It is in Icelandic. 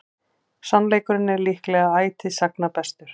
Sannleikurinn er líklega ætíð sagna bestur.